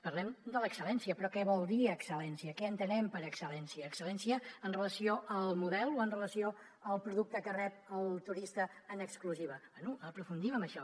parlem de l’excel·lència però què vol dir excel·lència què entenem per excel·lència excel·lència amb relació al model o amb relació al producte que rep el turista en exclusiva bé aprofundim en això